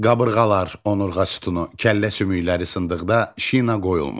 Qabırğalar, onurğa sütunu, kəllə sümükləri sındıqda şina qoyulmur.